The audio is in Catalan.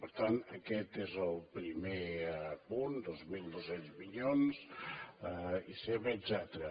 per tant aquest és el primer punt dos mil dos cents milions etcètera